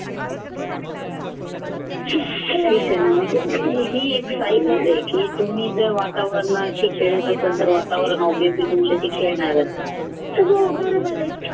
ठीक आहे ना की तुम्ही जर वातावरणाशी खेळत असाल तर वातावरण obviously तुमच्याशी खेळणार हो बरोबर आहे